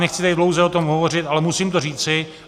Nechci tady dlouze o tom hovořit, ale musím to říci.